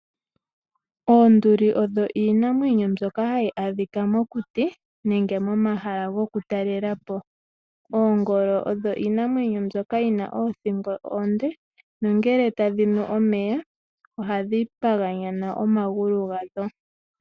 Oonduli odho iinamwenyo mbyoka ha yi adhika mokuti nenge momahala gokutalela po. Oonduli odho iinamwenyo mbyoka yi na oothingo oonde, nongele ta dhi nu omeya ohadhi paganyana omagulu gadho.